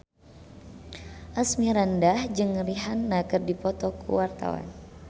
Asmirandah jeung Rihanna keur dipoto ku wartawan